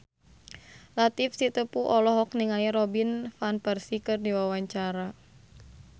Latief Sitepu olohok ningali Robin Van Persie keur diwawancara